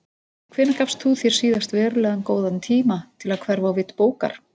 Hvenær gafst þú þér síðast verulega góðan tíma til að hverfa á vit bókar?